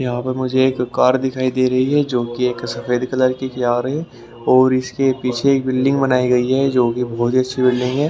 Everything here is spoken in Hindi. यहाँ पर मुझे एक कार दिखाई दे रही है जो कि एक सफेद कलर की कार है और इसके पीछे एक बिल्डिंग बनाई गई है जो कि बहोत ही अच्छी बिल्डिंग है।